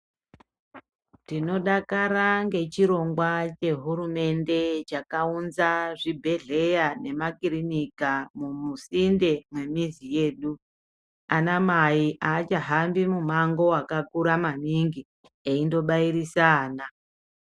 Tinodakara ngechirongwa chehurumende chakaunza zvibhedhlera nemakirinika musinde mwemizi yedu. Anamai aachahambi mumango wakakura maningi eindobairise ana.